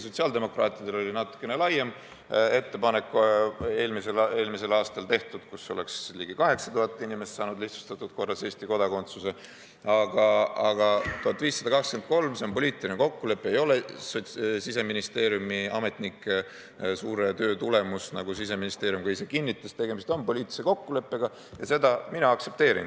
Sotsiaaldemokraatidel oli natukene laiem ettepanek eelmisel aastal, ligi 8000 inimest oleks saanud lihtsustatud korras Eesti kodakondsuse, aga see 1523 on poliitiline kokkulepe, see ei ole Siseministeeriumi ametnike suure töö tulemus, nagu Siseministeerium ka ise kinnitas, tegemist on poliitilise kokkuleppega ja seda mina aktsepteerin.